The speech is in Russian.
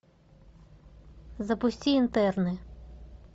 запусти интерны